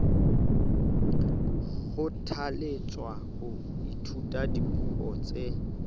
kgothalletswa ho ithuta dipuo tse